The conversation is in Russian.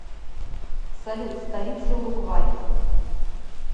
салют столица уругвай